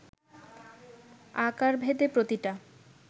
আকারভেদে প্রতিটা